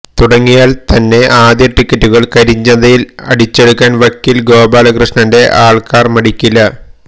തുടങ്ങിയാൽ തന്നെ ആദ്യ ടിക്കിറ്റുകൾ കരിഞ്ചന്തയിൽ അടിച്ചെടുക്കാൻ വക്കീൽ ഗോപാലകൃഷ്ണന്റെ ആൾക്കാർ മടിക്കില്ല